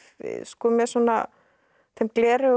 með svona þeim gleraugum